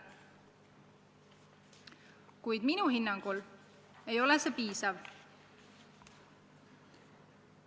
Kuid minu hinnangul ei ole see piisav.